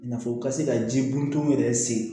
I n'a fɔ u ka se ka ji bɔntɔnw yɛrɛ sen